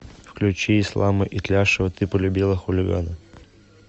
включи ислама итляшева ты полюбила хулигана